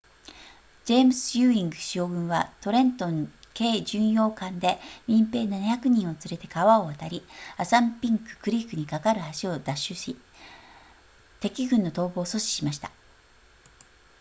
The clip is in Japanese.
ジェームズユーイング将軍はトレントン軽巡洋艦で民兵700人を連れて川を渡りアサンピンククリークにかかる橋を奪取し敵軍の逃亡を阻止しました